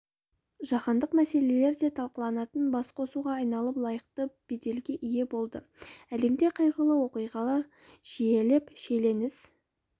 жаһандық мәселелер да талқыланатын басқосуға айналып лайықты беделге ие болды әлемде қайғылы оқиғалар жиілеп шиеленіс